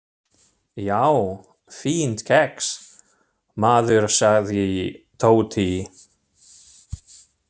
Já, fínt kex, maður sagði Tóti.